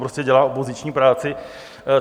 Prostě dělá opoziční práci.